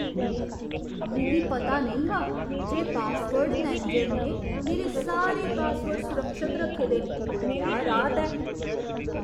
मिगी पता नेईं हा जे पासवर्ड मैनेजर ने मेरे सारे पासवर्ड सुरक्षत रक्खे दे न। क्या राहत ऐ!